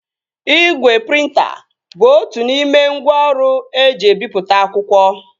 Igwe prịnta bụ otu n'ime ngwá ọrụ eji ebipụta akwụkwọ